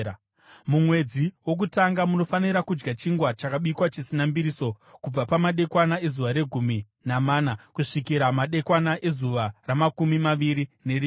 Mumwedzi wokutanga munofanira kudya chingwa chakabikwa chisina mbiriso, kubva pamadekwana ezuva regumi namana kusvikira madekwana ezuva ramakumi maviri nerimwe.